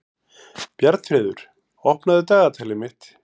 Bjarnfreður, opnaðu dagatalið mitt.